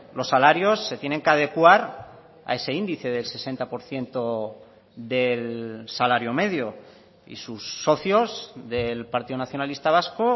los salarios se tienen que adecuar a ese índice del sesenta por ciento del salario medio y sus socios del partido nacionalista vasco